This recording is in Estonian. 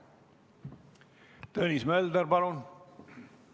Tõnis Mölder, palun!